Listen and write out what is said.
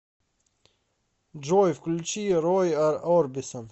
джой включи рой орбисон